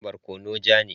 Barkono ja ne.